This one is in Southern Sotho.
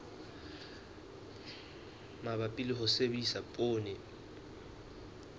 mabapi le ho sebedisa poone